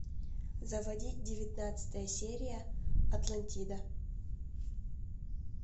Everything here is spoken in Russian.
заводи девятнадцатая серия атлантида